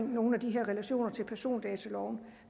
nogle af de her relationer til persondataloven